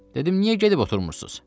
Dedim: Niyə gedib oturmursunuz?